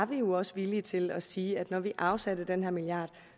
vi jo også villige til at sige at når vi afsatte den her milliard